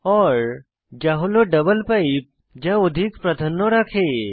ওর যা হল double pipe যা অধিক প্রাধান্য রাখে